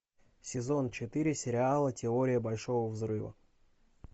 сезон четыре сериала теория большого взрыва